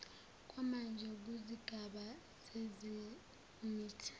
kwamanje kuzigaba zezemithi